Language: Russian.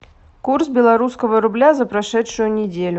курс белорусского рубля за прошедшую неделю